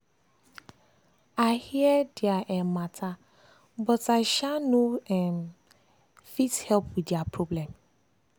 i hear dia um matter but i um no um fit help with dia problem.